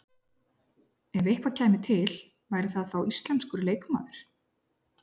Ef eitthvað kæmi til væri það þá íslenskur leikmaður?